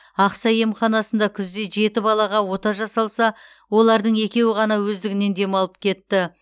ақсай емханасында күзде жеті балаға ота жасалса олардың екеуі ғана өздігінен демалып кетті